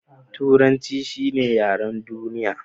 Turanci shi ne yaren duniya.